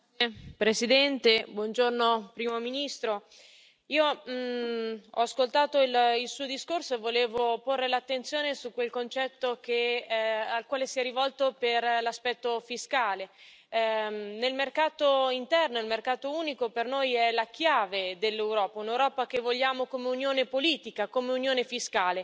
Signor Presidente, onorevoli colleghi, Primo ministro, ho ascoltato il Suo discorso e volevo porre l'attenzione su quel concetto al quale si è rivolto per l'aspetto fiscale. Nel mercato interno, il mercato unico per noi è la chiave dell'Europa, un'Europa che vogliamo come unione politica, come unione fiscale.